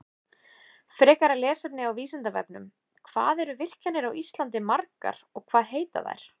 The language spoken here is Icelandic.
Frekara lesefni á Vísindavefnum: Hvað eru virkjanir á Íslandi margar og hvað heita þær?